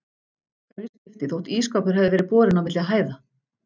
Hverju skipti þótt ísskápur hefði verið borinn á milli hæða?